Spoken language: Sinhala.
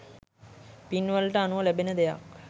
පින්වලට අනුව ලැබෙන දෙයක්.